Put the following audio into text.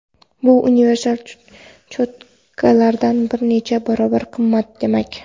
Bu universal cho‘tkalardan bir necha barobar qimmat demak.